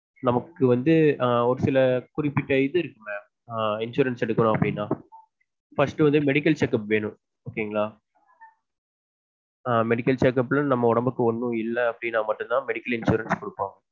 நமக்கு வந்து ஆஹ் ஒரு சில குறிப்பிட்ட இது இருக்குல insurance எடுக்கணும் அப்படின்னா first வந்து medical check up வேணும் okay ங்களா ஆஹ் medical check up ல நம்ம உடம்புக்கு ஒன்னும் இல்ல அப்படின்னா மட்டும் தான் medical insurance குடுப்பாங்க